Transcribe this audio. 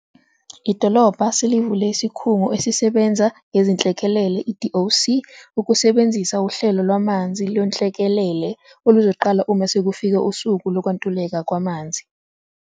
Idolobha selivule Isikhungo Esisebenza Ngezinhlekelele, i-DOC, ukusebenzisa Uhlelo Lwamanzi Lwenhlekelele, oluzoqala uma sekufike usuku lokwantuleka kwamanzi.